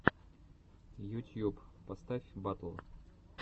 ютьюб поставь батл